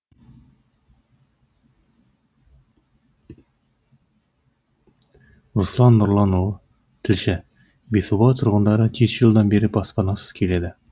руслан нұрланұлы тілші бесоба тұрғындары жеті жылдан бері баспанасыз келеді